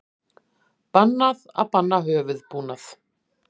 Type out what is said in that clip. Bannað að banna höfuðbúnað